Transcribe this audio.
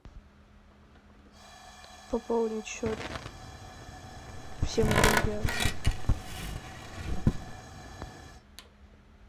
пополнить счет всем друзьям